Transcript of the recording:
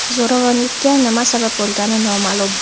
Zo‘ravonlikka nima sabab bo‘lgani noma’lum.